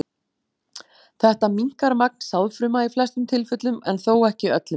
Þetta minnkar magn sáðfruma í flestum tilfellum en þó ekki öllum.